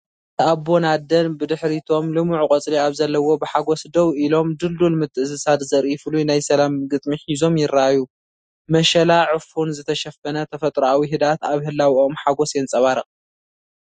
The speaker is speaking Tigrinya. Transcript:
ሓደ ኣቦን ኣደን፡ ብድሕሪቶም ልሙዕ ቆፅሊ ኣብ ዘለዎ ብሓጎስ ደው ኢሎም፡ ድልዱል ምትእስሳር ዘርኢ ፍሉይ ናይ ሰላም ግጥሚ ሒዞም ይረኣዩ። መሸላ/ዑፉን ዝተሸፈነ ተፈጥሮኣዊ ህድኣት ኣብ ህላወኦም ሓጐስ የንጸባርቕ።